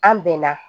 An bɛnna